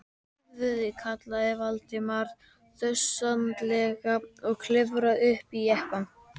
Drífðu þig- kallaði Valdimar þjösnalega og klifraði upp í jeppann.